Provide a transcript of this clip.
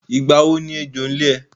Ìgbà wo ni ẹjọ́ ń lé ẹ?